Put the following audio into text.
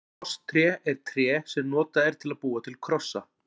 Krosstré er tré sem notað er til að búa til krossa.